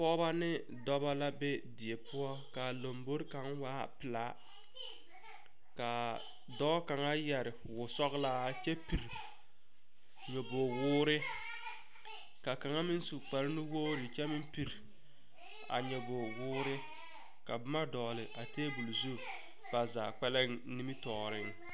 Pɔgbɔ ne dɔbɔ la be die poʊ ka lombɔre kang waa pulaa kaa dɔɔ kanga yɛre wɔ sɔglaa kyɛ pir nyobɔg wɔɔre. Ka kanga meŋ su kpar nuwogre kyɛ meŋ pir a nyobɔg wɔɔre. Ka boma dogle a tabul zu ba zaa kpɛleŋ nimitooreŋ.